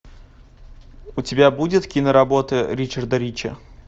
у тебя будет киноработы ричарда рича